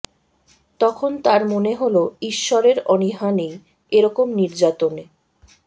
তখন তার মনে হলো ঈশ্বরের অনীহা নেই এ রকম নির্যাতনে